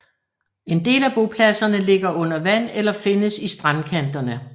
En del af bopladserne ligger under vand eller findes i strandkanterne